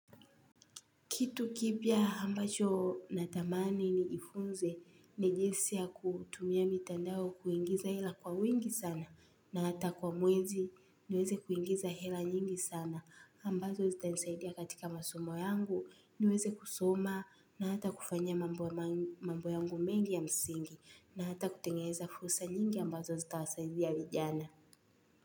Kitu kipya ambacho natamani nijifunze ni jinsi ya kutumia mitandao kuingiza ila kwa wingi sana na hata kwa mwezi niweze kuingiza hela nyingi sana ambazo zitanisaidia katika masomo yangu niweze kusoma na hata kufanya mambo yangu mengi ya msingi na hata kutengeza fursa nyingi ambazo zitawasaidia vijana.